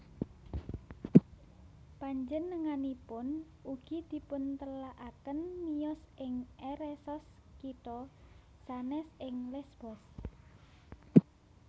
Panjenenganipun ugi dipuntelakaken miyos ing Eresos kitha sanès ing Lesbos